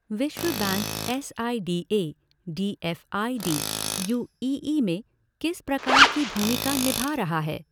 विश्व bank S I D A, D F I D, U E E में किस प्रकार की भूमिका निभा रहा है?